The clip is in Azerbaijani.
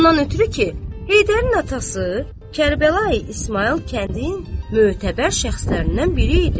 Ondan ötrü ki, Heydərin atası Kərbəlayı İsmayıl kəndin mötəbər şəxslərindən biri idi.